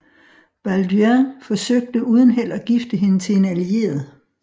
Balduin forsøgte uden held at gifte hende til en allieret